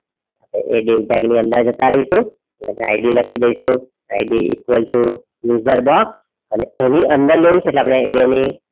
એ dieu tag ની અંદર જતા રહીશું ID લખી દઈશું IDequal too user box અને એની અંદર લેવુ છે એટલે આપણે એ બેની